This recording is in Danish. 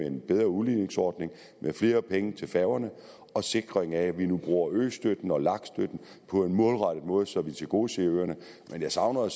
en bedre udligningsordning flere penge til færgerne og sikring af at vi nu bruger østøtten og lag støtten på en målrettet måde så vi tilgodeser øerne men jeg savner at